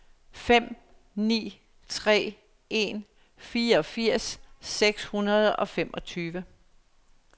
fem ni tre en fireogfirs seks hundrede og femogtyve